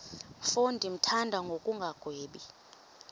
mfo ndimthanda ngokungagwebi